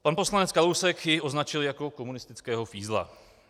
Pan poslanec Kalousek jej označil jako komunistického fízla.